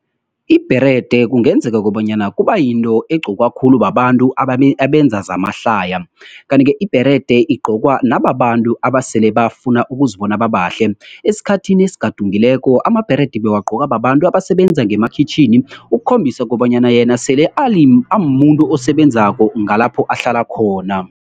Ibherede kungenzeka kobanyana kuba yinto egqokwa khulu babantu abenza zamahlaya. Kanti-ke ibherede igqokwa nababantu abasele bafuna ukuzibona babahle. Esikhathini esigadungileko amabherede bewagqoka babantu abasebenza ngemakhitjhini, ukukhombisa kobanyana yena sele amuntu osebenzako ngalapho ahlala khona.